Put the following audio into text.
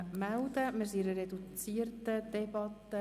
Wir befinden uns in einer reduzierten Debatte.